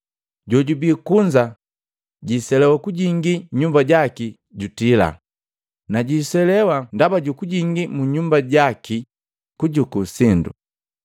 Jojubii kunza jwiselewa kujingi munyumba jaki jutila, na jwiselewa ndaba ju kujingii mu nyumba jaki kujuku sindo!